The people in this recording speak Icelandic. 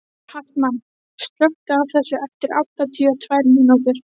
Hartmann, slökktu á þessu eftir áttatíu og tvær mínútur.